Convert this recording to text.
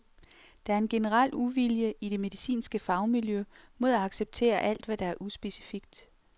Der er en generel uvilje i det medicinske fagmiljø mod at acceptere alt, hvad der er uspecifikt..